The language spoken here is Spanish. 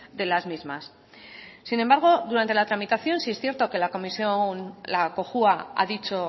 de las mismas sin embargo durante la tramitación sí es cierto que la comisión la cojua ha dicho